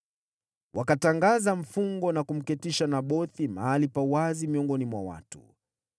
Wakatangaza mfungo na kumketisha Nabothi mahali pa wazi miongoni mwa watu.